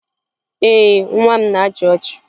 Ee, nwa m na-achị ọchị